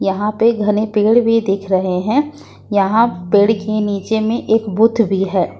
यहां पे घने पेड़ भी दिख रहे हैं यहां पेड़ के नीचे में एक बूथ भी है।